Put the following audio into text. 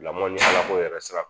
Lamɔ ni ala ko yɛrɛ sira